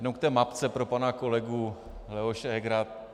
Jenom k té mapce - pro pana kolegu Leoše Hegera.